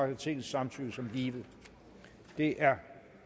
jeg tingets samtykke som givet det er